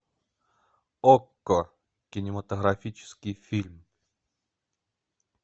окко кинематографический фильм